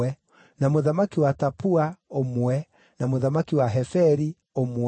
na mũthamaki wa Tapua, ũmwe, na mũthamaki wa Heferi, ũmwe,